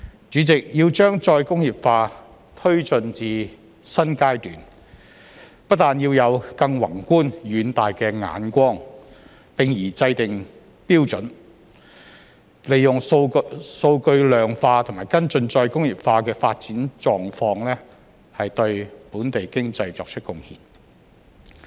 主席，要將再工業化推進至"新階段"，不但要有更宏觀遠大的眼光，並宜制訂標準，利用數據量化和跟進再工業化的發展狀況，對本地經濟作出貢獻。